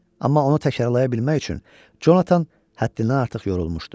Amma onu təkrarlaya bilmək üçün Conatan həddindən artıq yorulmuşdu.